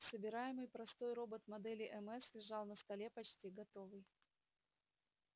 собираемый простой робот модели мс лежал на столе почти готовый